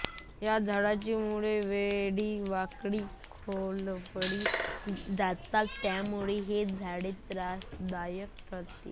या झाडाची मुळे वेडीवाकडी खोलवर जातात यामुळे हे झाड त्रासदायक ठरते